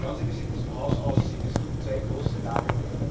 Schauen Sie, wie es in diesem Haus aussieht Es gibt zwei große Lager.